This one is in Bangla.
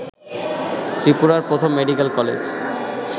ত্রিপুরার প্রথম মেডিক্যাল কলেজ